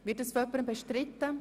Wird dies bestritten?